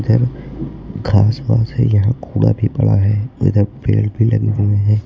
इधर घास पास है यहां कूड़ा भी पड़ा है इधर पेड़ भी लगे हुए हैं।